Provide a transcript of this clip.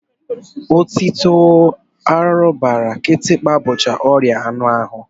Otito, arụrụbara, kịtịkpa bụcha ọrịa anụahụ